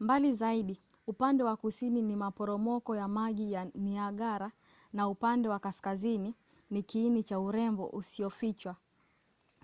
mbali zaidi upande wa kusini ni maporomoko ya maji ya niagara na upande wa kaskazini ni kiini cha urembo usiyofichwa